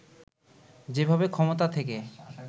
যেভাবে ক্ষমতা থেকে